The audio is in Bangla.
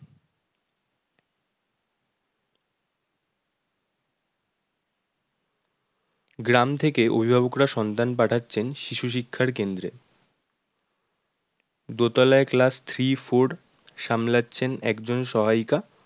গ্রাম থেকে অভিভাবকরা সন্তান পাঠাচ্ছেন শিশু শিক্ষার কেন্দ্রে দোতলায় class three, four সামলাচ্ছেন একজন সহায়িকা।